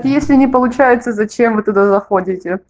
если не получается зачем вы туда заходите